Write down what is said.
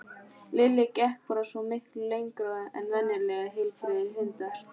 Lilli gekk bara svo miklu lengra en venjulegir heilbrigðir hundar.